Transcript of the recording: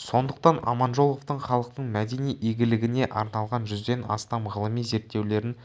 сондықтан аманжоловтың халықтың мәдени игілігіне арналған жүзден астам ғылыми зерттеулерін